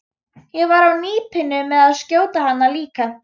Ég var á nippinu með að skjóta hana líka.